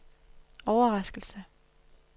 overraskelse